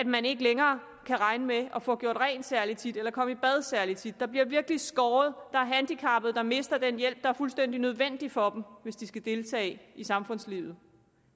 man ikke længere kan regne med at få gjort rent særlig tit eller komme i bad særlig tit der bliver virkelig skåret der er handicappede der mister den hjælp der er fuldstændig nødvendig for dem hvis de skal deltage i samfundslivet